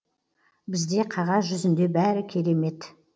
бізде қағаз жүзінде бәрі керемет